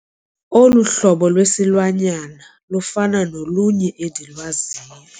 Olu hlobo lwesilwanyana lufana nolunye endilwaziyo.